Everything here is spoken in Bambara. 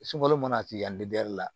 Sunkalo mana tigɛ yan